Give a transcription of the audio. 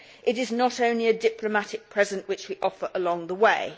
It is not only a diplomatic present which we offer along the way'.